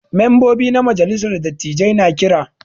Membobi na majalissar dattijai na Kira.